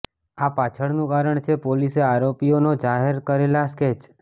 આ પાછળનું કારણ છે પોલીસે આરોપીઓના જાહેર કરેલા સ્કેચ